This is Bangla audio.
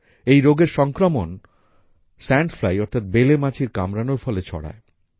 এই রোগের সংক্রমণ সান্দ ফ্লাই অর্থাৎ বেলে মাছির কামড়ানোর ফলে ছড়ায়